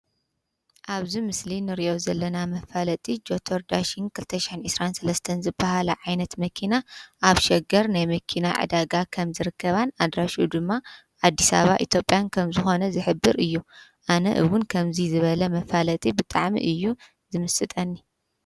ኣብዝ ምስሊ ንርእኦ ዘለና መፋለጢ ጀቶር ዳሽን ክልተሻን እስራን ሠለስተን ዝበሃላ ዓይነት መኪና ኣብ ሸገር ናይ መኪና ዕዳጋ ኸም ዝርከባን ኣድራሽኡ ድማ ኣዲሳባ ኢቶጴያን ከም ዝኾነ ዝሕብር እዩ ኣነ እውን ከምዙይ ዝበለ መፋለጢ ብጣዕሚ እዩ ዝምስጠኒ::